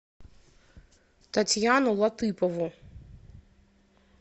татьяну латыпову